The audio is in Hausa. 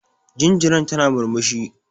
Jinjiran tana murmushi.